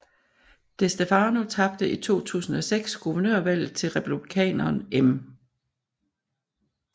DeStefano tabte i 2006 guvernørvalget til republikaneren M